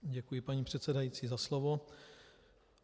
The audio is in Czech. Děkuji, paní předsedající, za slovo.